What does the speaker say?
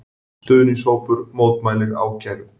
Stuðningshópur mótmælir ákæru